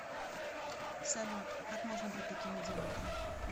салют как можно быть таким идиотом